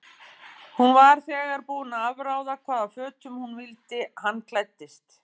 Hún var þegar búin að afráða hvaða fötum hún vildi hann klæddist.